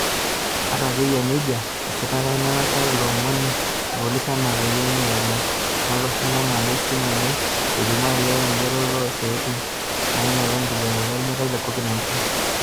Ata ake eyia nejia esiitaka ina tasat ilo omoni ilpolisi enaa peyie eeny lelo lootoshoko engamu esimu enye elimu aajo oree enjooroto oosiaitin nenyiala inkibooreta olmeitai le Covid-19.